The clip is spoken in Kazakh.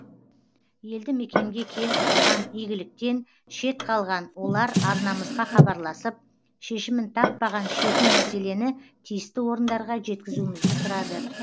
елді мекенге келіп тұрған игіліктен шет қалған олар арнамызға хабарласып шешімін таппаған шетін мәселені тиісті орындарға жеткізуімізді сұрады